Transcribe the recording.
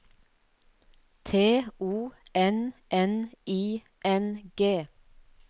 T O N N I N G